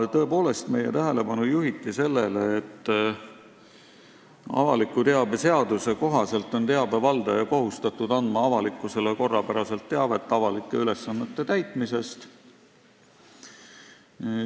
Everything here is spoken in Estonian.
Tõepoolest, meie tähelepanu juhiti sellele, et avaliku teabe seaduse kohaselt on teabe valdaja kohustatud andma avalikkusele korrapäraselt teavet avalike ülesannete täitmisest.